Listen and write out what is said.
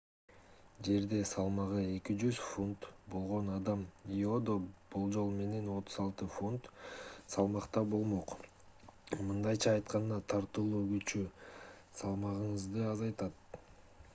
жерде салмагы 200 фунт 90 кг болгон адам иодо болжол менен 36 фунт 16 кг салмакта болмок. мындайча айтканда тартылуу күчү салмагыңызды азайтат